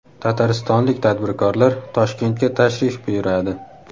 Tataristonlik tadbirkorlar Toshkentga tashrif buyuradi.